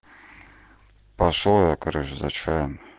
пошёл я короче за чаем